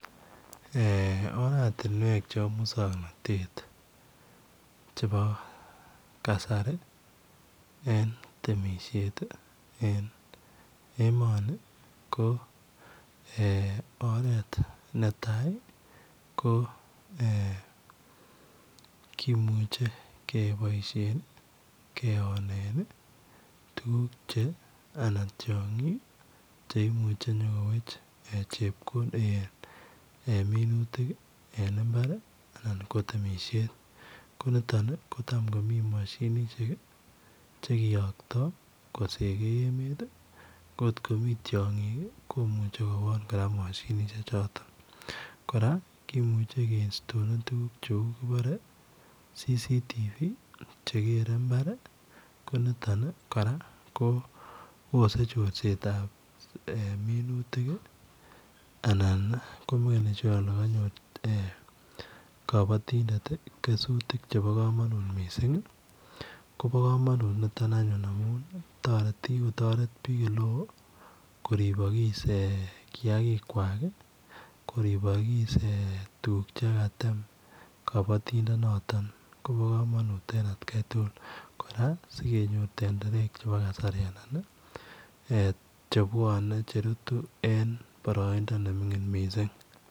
Eeh oratinweek chebo musanganatet ii chebo kasari ii eng temisiet ii eng emani ii ko eeh oret netai ii ko eeh kimuchei kebaishen Leone en ii tuguuk che anan tiangiik cheimuuchi inyokoweech chepkondok eeh minutiik en mbaar ii anan ko temisiet ko nitoon ii kochaam komii mashinisheek ii chekiyaktoi kosegei emeet ko koot komii tiangiik komuchee kowoon kora mashinisheek chotoon kora kimuchei ke instaleen tuguuk che uu bare it [CCTV] che kerei mbar ko nitoon ni kora Bose chorset ab minutiik anan ko makenii sure kole konyoor eeh kabatindet kesutiik chebo kamanut ii kobaa kamanut anyuun nitoon amuun taretii kikotaret biik koribakis kiagik kwak koribakis tuguuk che Katem kabatindet nitoon kobaa kamanut eng at Kai tugul kora singenyoor tenderek ab kasari che bwane che rutuu eng baraindaa ne minglin missing.